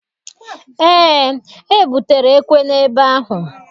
Eé, ebutere ekwe n'ebe ahụ.